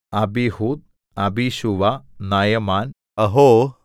Abiud Abishua Naaman Ahoah